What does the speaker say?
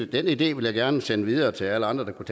den idé vil jeg gerne sende videre til alle andre der kunne